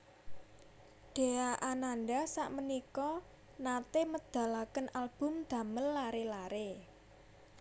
Dhea Ananda sakmenika nate medalaken album damel lare lare